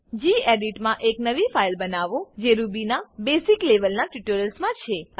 gedit મા એક નવી ફાઈલ બનાવોજે રૂબી ના બેસિક લેવલના ટ્યુટોરિયલ્સમા છે